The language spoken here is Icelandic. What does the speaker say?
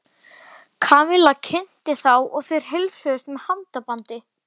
Kamilla kynnti þá og þeir heilsuðust með handabandi.